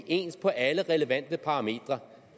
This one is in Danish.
ens på alle relevante parametre